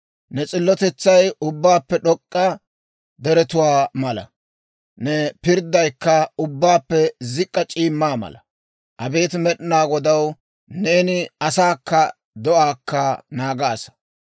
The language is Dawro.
Ne s'illotetsay ubbaappe d'ok'k'a deretuwaa mala; ne pirddaykka ubbaappe zik'k'a c'iimmaa mala. Abeet Med'inaa Godaw, neeni asaakka do'aakka naagaasa.